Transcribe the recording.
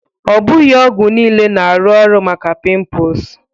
Ọ bụghị ọgwụ niile na-arụ ọrụ maka pimples